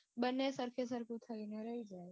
બને સરખે સરખું જ છે